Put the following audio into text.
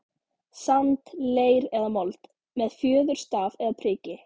sand, leir eða mold, með fjöðurstaf eða priki.